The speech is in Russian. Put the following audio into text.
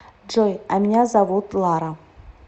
джой а меня зовут лара